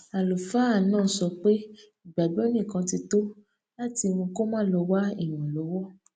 àlùfáà náà sọ pé ìgbàgbó nìkan ti tó láti mú kó má lọ wá ìrànlówó